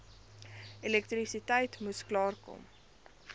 elektrisiteit moes klaarkom